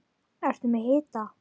Ertu með hita?